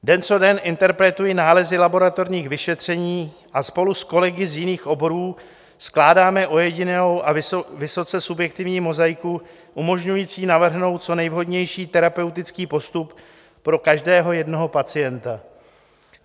Den co den interpretuji nálezy laboratorních vyšetření a spolu s kolegy z jiných oborů skládáme ojedinělou a vysoce subjektivní mozaiku umožňující navrhnout co nejvhodnější terapeutický postup pro každého jednoho pacienta.